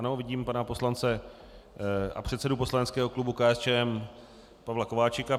Ano, vidím pana poslance a předsedu poslaneckého klubu KSČM Pavla Kováčika.